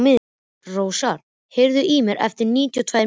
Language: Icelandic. Rósar, heyrðu í mér eftir níutíu og tvær mínútur.